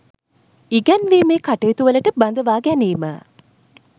ඉගැන්වීමේ කටයුතු වලට බඳවා ගැනීම.